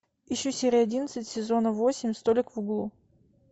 ищу серию одиннадцать сезона восемь столик в углу